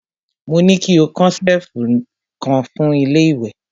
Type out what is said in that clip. Mo ní ki ó kan ṣẹ̀lfù kan fún ilé ìwẹ̀!